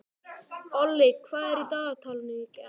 Olli, hvað er í dagatalinu í dag?